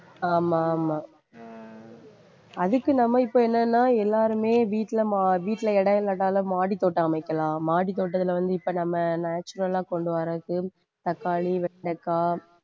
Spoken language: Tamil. ஆமா ஆமா அதுக்கு நாம இப்ப என்னன்னா எல்லாருமே வீட்டில மா~ வீட்டில இடம் இல்லாட்டாலும் மாடித்தோட்டம் அமைக்கலாம். மாடித்தோட்டத்துல வந்து இப்ப நம்ம natural ஆ கொண்டு வர்றதுக்கு தக்காளி, வெண்டைக்காய்